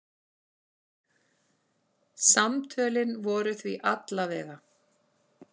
Samtölin voru því alla vega.